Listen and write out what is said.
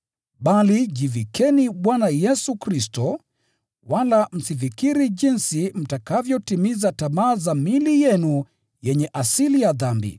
Bali jivikeni Bwana Yesu Kristo, wala msifikiri jinsi mtakavyotimiza tamaa za miili yenu yenye asili ya dhambi.